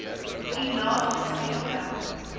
u naaste sentrum